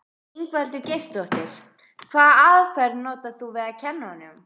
Ingveldur Geirsdóttir: Hvaða aðferð notar þú við að kenna honum?